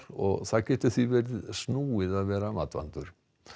og það getur því verið snúið að vera matvandur